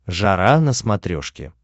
жара на смотрешке